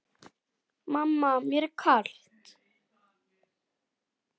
Mamma mér er kalt!